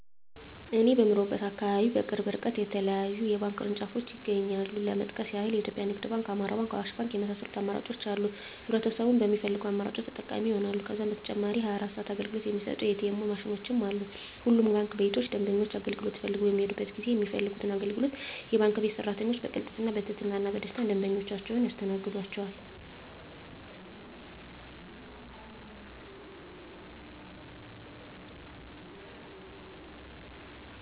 እኔ በምኖርበት አካባቢ በቅርብ እርቀት የተለያዩ የባንክ ቅርንጫፎች ይገኛሉ ለመጥቀስ ያክል ኢትዮጵያ ንግድ ባንክ፣ አማራ ባንክ፣ አዋሽ ባንክ የመሳሰሉት አማራጮች አሉ ህብረተሰቡም በሚፈልገው አማራጮች ተጠቃሚ ይሆናሉ። ከዛም በተጨማሪ 24 ሰዓት አገልግሎት የሚሰጡ ኢ.ቲ. ኤምዎች ማሽኖችም አሉ። ሁሉም ባንክ ቤቶች ደንበኞች አገልግሎት ፈልገው በሚሔዱበት ጊዜ የሚፈልጉትን አገልግሎት የባንክ ቤት ሰራተኞች በቅልጥፍና፣ በትህትና እና በደስታና ደንበኞቻቸውን ያስተናግዷቸዋል! ዠ።